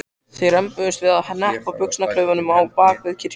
Þeir rembdust við að hneppa buxnaklaufunum á bak við kirkjuna.